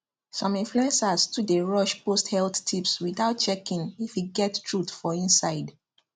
some influencers too dey rush post health tips without checking if e get truth for inside